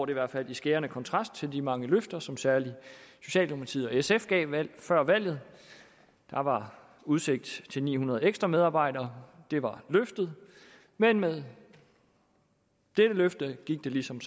i hvert fald i skærende kontrast til de mange løfter som særlig socialdemokratiet og sf gav før valget der var udsigt til ni hundrede ekstra medarbejdere det var løftet men med dette løfte gik det som